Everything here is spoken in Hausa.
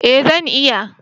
eh zan iya